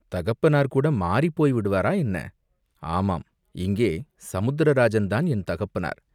"தகப்பனார் கூட மாறிப் போய்விடுவாரா, என்ன?" "ஆமாம், இங்கே சமுத்திர ராஜன்தான் என் தகப்பனார்.